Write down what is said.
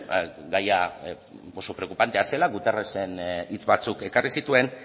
gaia oso preokupantea zela hitz batzuk ekarri zituen